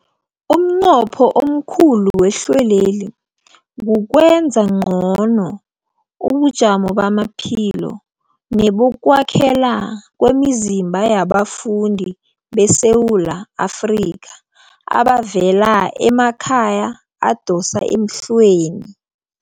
Umnqopho omkhulu wehlelweli kukwenza ngcono ubujamo bamaphilo nebokwakhela kwemizimba yabafundi beSewula Afrika abavela emakhaya adosa emhlweni.